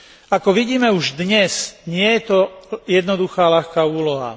Ako vidíme už dnes, nie je to jednoduchá a ľahká úloha.